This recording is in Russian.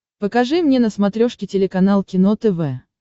покажи мне на смотрешке телеканал кино тв